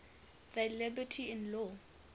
thy liberty in law